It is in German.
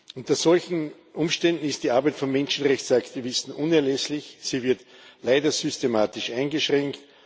Unter solchen Umständen ist die Arbeit von Menschenrechtsaktivisten unerlässlich, sie wird leider systematisch eingeschränkt.